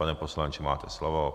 Pane poslanče, máte slovo.